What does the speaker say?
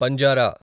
పంజారా